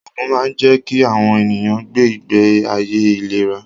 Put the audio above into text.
Ògùn máa ń jẹ́ kí àwọn ènìyàn gbé ìgbé ayé ìléra